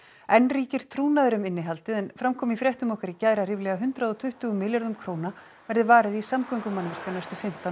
enn ríkir trúnaður um innihaldið en fram kom í fréttum okkar í gær að ríflega hundrað og tuttugu milljörðum króna verði varið í samgöngumannvirki á næstu fimmtán